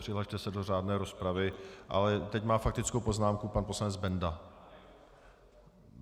Přihlaste se do řádné rozpravy, ale teď má faktickou poznámku pan poslanec Benda.